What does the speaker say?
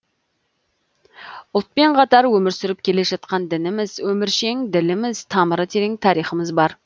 ұлтпен қатар өмір сүріп келе жатқан дініміз өміршең діліміз тамыры терең тарихымыз бар